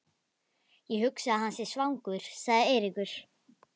Ég hugsa að hann sé svangur sagði Eiríkur.